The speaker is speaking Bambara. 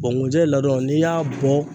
nkunjɛ ladon n'i y'a bɔ